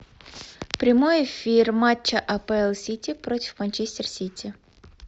прямой эфир матча апл сити против манчестер сити